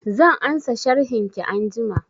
Zan ansa sharhin ki anjima